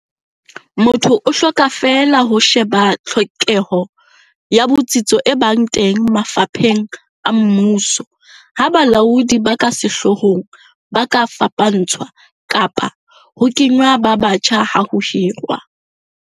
Motho o hloka feela ho sheba tlhokeho ya botsitso e ba teng mafapheng a mmuso ha balaodi ba ka sehloohong ba ka fapantshwa kapa ho kengwa ba batjha ha ho hirwa.